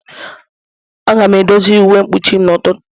A ga-edozi uwe mkpuchim n'ụtụtụ.